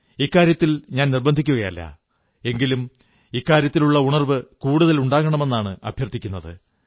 ഇക്കാര്യത്തിൽ ഞാൻ നിർബന്ധിക്കയല്ല എങ്കിലും ഉണർവ്വ് കൂടുതലുണ്ടാകണമെന്ന് അഭ്യർത്ഥിക്കുന്നു